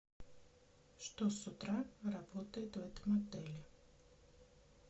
что с утра работает в этом отеле